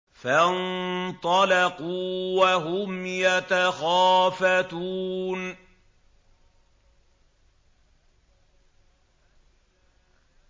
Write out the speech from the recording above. فَانطَلَقُوا وَهُمْ يَتَخَافَتُونَ